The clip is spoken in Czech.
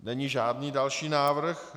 Není žádný další návrh.